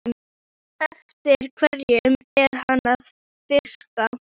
Ég sagði þér það um daginn.